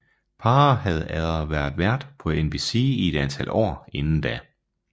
Paar havde været vært på NBC i et antal år inden da